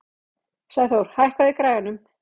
Sæþór, hækkaðu í græjunum.